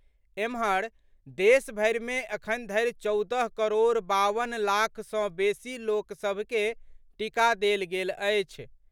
एम्हर, देशभरि मे अखन धरि चौदह करोड़ बावन लाख सँ बेसी लोक सभ के टीका देल गेल अछि।